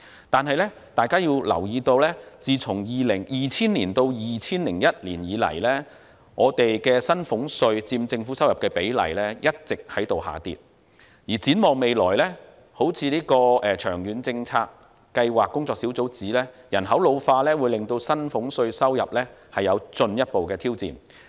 但是，大家要留意，自 2000-2001 年度以來，薪俸稅佔政府收入的比例一直下跌，而展望未來，正如長遠財政計劃工作小組指出，人口老化會對薪俸稅收入帶來進一步挑戰。